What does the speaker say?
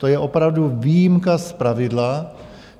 To je opravdu výjimka z pravidla.